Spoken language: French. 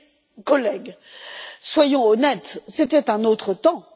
Mais, chers collègues, soyons honnêtes, c'était un autre temps.